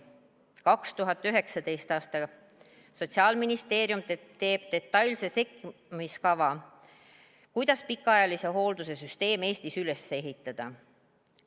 2019. aastal tegi Sotsiaalministeerium detailse sekkumiskava, kuidas pikaajalise hoolduse süsteem Eestis üles ehitada.